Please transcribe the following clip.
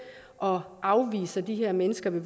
og afviser de her mennesker ved